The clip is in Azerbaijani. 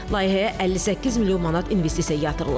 Layihəyə 58 milyon manat investisiya yatırılıb.